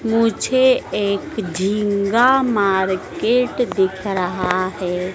मुझे एक झींगा मार्केट दिख रहा है।